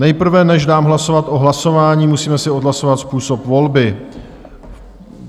Nejprve, než dám hlasovat o hlasování , musíme si odhlasovat způsob volby.